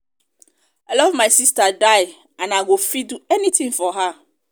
i love my sister die and i go fit do anything for her